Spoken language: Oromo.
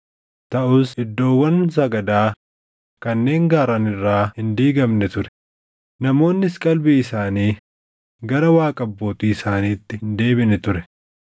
Taʼus iddoowwan sagadaa kanneen gaarran irraa hin diigamne ture; namoonnis qalbii isaanii gara Waaqa abbootii isaaniitti hin deebine ture.